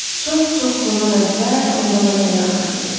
Çox-çox bundan əvvəl, onda mən hələ uşaq idim.